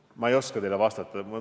Aga ma ei oska teile vastata.